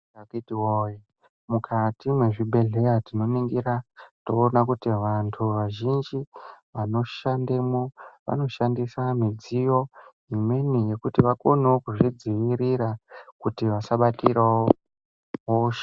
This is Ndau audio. Akithi woye, mukati mezvi bhedhlera tinoningira, toona kuti vantu vazhinji vanoshandemo vanoshandisa midziyo imweni yekuti vakonewo kuzvidzivirira kuti vasabatirawo hosha.